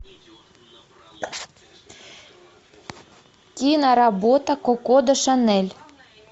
киноработа коко де шанель